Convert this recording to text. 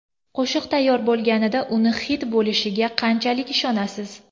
Qo‘shiq tayyor bo‘lganida uni xit bo‘lishiga qanchalik ishonasiz?